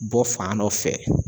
Bɔ fan dɔ fɛ